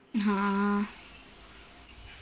ആ